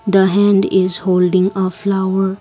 the hand is holding a flower.